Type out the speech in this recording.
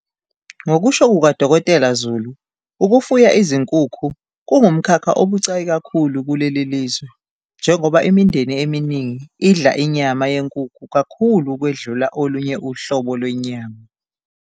Ngokusho kuka-Dkt Zulu, ukufuya izinkukhu kungumkhakha obucayi kakhulu kuleli lizwe, njengoba imindeni eminingi idla inyama yenkukhu kakhulu ukwedlula olunye uhlobo lwenyama.